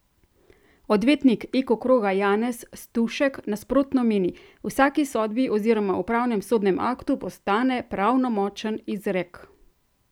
Odvetnik Eko kroga Janez Stušek, nasprotno, meni: "V vsaki sodbi oziroma upravnem sodnem aktu postane pravnomočen izrek.